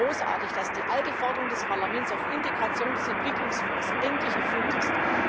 Ich finde es großartig, dass die alte Forderung des Parlaments nach einer Integration des Entwicklungsfonds endlich erfüllt ist.